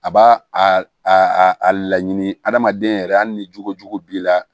A b'a a a laɲini adamaden yɛrɛ hali ni jugujugu b'i la